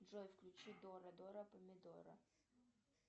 джой включи дора дора помидора